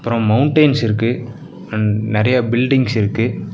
Mountains இருக்கு and நெறைய buildings இருக்கு.